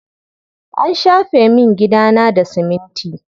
An shafe min gidana da siminti.